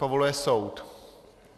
Povoluje soud.